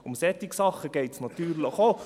Um solche Sachen geht es natürlich auch.